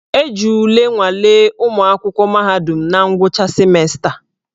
E ji ule nwalee ụmụ akwụkwọ mahadum na ngwụcha simensta.